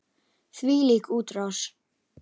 Þvílík útrás!